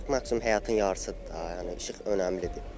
İşıq maksimum həyatın yarısıdır da, yəni işıq önəmlidir.